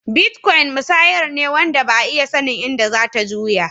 Bitcoin musayar ne wanda Ba'a iya sannin inda zatta juya.